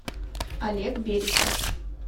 олег берестов